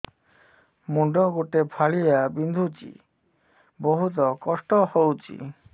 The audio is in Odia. ମୁଣ୍ଡ ଗୋଟେ ଫାଳିଆ ବିନ୍ଧୁଚି ବହୁତ କଷ୍ଟ ହଉଚି